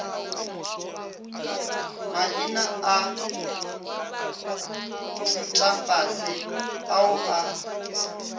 maina a thutafase ao a